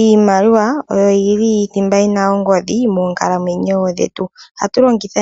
Iimaliwa oyo yili thimba yina ongodhi moonkalamwenyo dhetu. Ohatu longitha